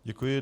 Děkuji.